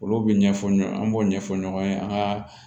Olu bɛ ɲɛfɔ ɲɔgɔn an b'o ɲɛfɔ ɲɔgɔn ye an ka